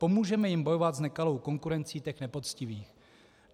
Pomůžeme jim bojovat s nekalou konkurencí těch nepoctivých.